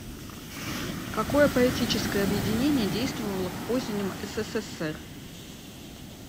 какое поэтическое объединение действовало в позднем ссср